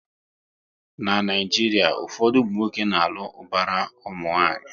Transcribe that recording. Na Naijiria, ụfọdụ ụmụnwoke na alụ ubara nwanyi